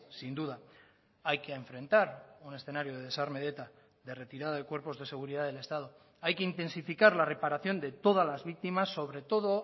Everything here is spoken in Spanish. sin duda hay que enfrentar un escenario de desarme de eta de retirada de cuerpos de seguridad del estado hay que intensificar la reparación de todas las víctimas sobre todo